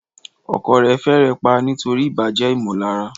Ọkọ rẹ̀ fẹ́rẹ̀ẹ́ pa á nítorí ìbàjẹ́ ìmọ̀lára.